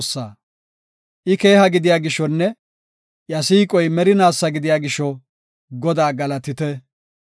I keeha gidiya gishonne iya siiqoy merinaasa gidiya gisho; Godaa galatite